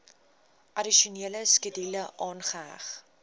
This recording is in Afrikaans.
addisionele skedule aangeheg